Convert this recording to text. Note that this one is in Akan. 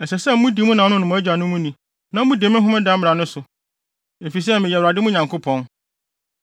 “ ‘Ɛsɛ sɛ mode nidi ma mo nanom ne mo agyanom na mudi me homeda mmara no so, efisɛ meyɛ Awurade mo Nyankopɔn.